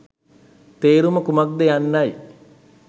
තේරුම කුමක් ද යන්නයි